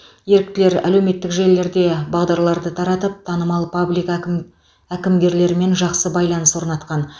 еріктілер әлеуметтік желілерде бағдарларды таратып танымал паблик әкім әкімгерлерімен жақсы байланыс орнатқан